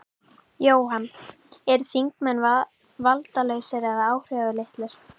Jóhann: Eru þingmenn valdalausir eða áhrifalitlir?